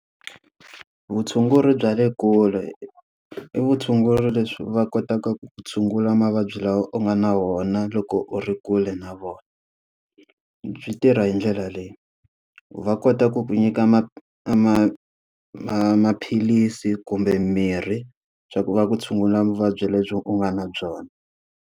Vutshunguri bya le kule i vutshunguri leswi va kotaka ku tshungula mavabyi lawa u nga na wona loko u ri kule na vona. Byi tirha hi ndlela leyi, va kota ku ku nyika maphilisi kumbe mirhi swa ku va ku tshungula vuvabyi lebyi u nga na byona.